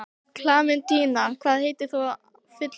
Klementína, hvað heitir þú fullu nafni?